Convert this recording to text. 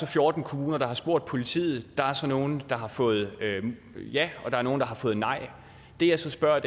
fjorten kommuner der har spurgt politiet og nogle af dem har fået ja og nogle af dem har fået nej det jeg så spørger